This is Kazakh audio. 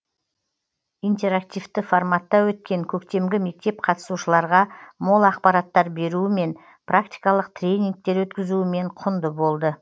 интерактивті форматта өткен көктемгі мектеп қатысушыларға мол ақпараттар беруімен практикалық тренингтер өткізуімен құнды болды